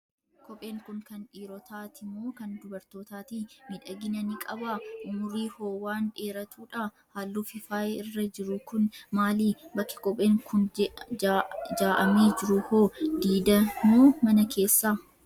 Kopheen kun kan dhiirotaati moo kan dubartootaati? Miidhagina ni qabaa? Umurii hoo waan dheeratudhaa? Halluu fi faayi irra jiru kun maali? Bakki kopheen kun jaa'amee jiru hoo? Diida moo mana keessadha?